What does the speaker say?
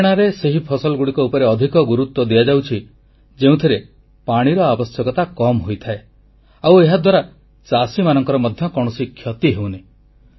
ହରିୟାଣାରେ ସେହି ଫସଲଗୁଡ଼ିକ ଉପରେ ଅଧିକ ଗୁରୁତ୍ୱ ଦିଆଯାଉଛି ଯେଉଁଥିରେ ପାଣିର ଆବଶ୍ୟକତା କମ୍ ହୋଇଥାଏ ଆଉ ଏହାଦ୍ୱାରା ଚାଷୀମାନଙ୍କର ମଧ୍ୟ କୌଣସି କ୍ଷତି ହେଉନି